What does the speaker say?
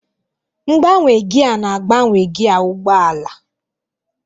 Mgbanwe gia na-agbanwe gia ụgbọ ala.